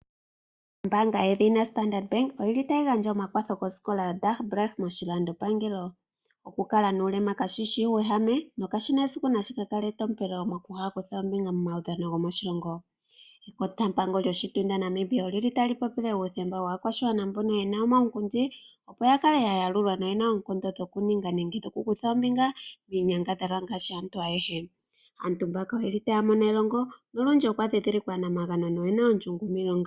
Ombanga yedhina Standard bank oyili tayi gandja omakwatho koskola yaDagbreek moshilandopangelo. Oku kala nuuwegame kashishi uuwehame nokashina esiku shika kale etompelo moku kala ino kutha ombinga momaudhano goshilongo. Ekotampango lyoshitunda shaNamibia olyili tali popile uuthemba waakwashigwana mbono yena omaunkundi opo yakale ya yalulwa noya kale yena oonkondo dhoku ninga nenge oku kutha ombinga miinyangadhalwa ngashi aantu ayehe. Aantu mbaka oyeli taya mono elongo nolundji okwa dhi dhilikwa aanamagano noye na ondjungu miilonga.